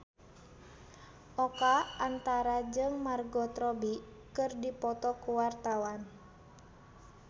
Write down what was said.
Oka Antara jeung Margot Robbie keur dipoto ku wartawan